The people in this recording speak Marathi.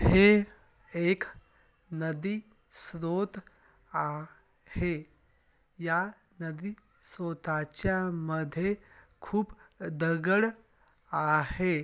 हे एक नदी श्रोत आ हे या नादि श्रोताच्यामध्ये खूप दगड़ आहे.